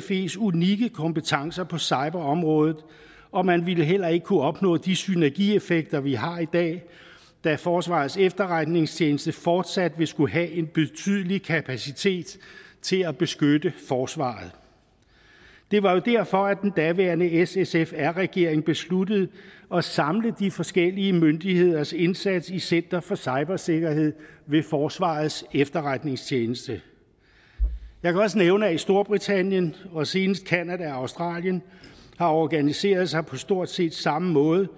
fes unikke kompetencer på cyberområdet og man ville heller ikke kunne opnå de synergieffekter vi har i dag da forsvarets efterretningstjeneste fortsat vil skulle have en betydelig kapacitet til at beskytte forsvaret det var jo derfor at den daværende s sf r regering besluttede at samle de forskellige myndigheders indsats i center for cybersikkerhed ved forsvarets efterretningstjeneste jeg kan også nævne at storbritannien og senest canada og australien har organiseret sig på stort set samme måde